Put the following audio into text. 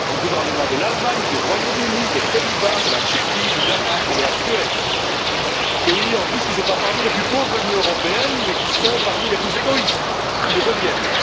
Les gouvernements de l'Allemagne, du Royaume Uni, des Pays Bas, de la République tchèque, du Danemark et de la Suède, pays en plus qui ne figurent pas parmi les plus pauvres de l'Union européenne, mais qui sont parmi les plus égoïstes ou qui le deviennent.